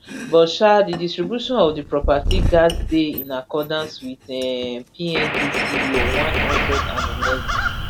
but um di distribution of di property gatz dey in accordance wit um pndc law one hundred and eleven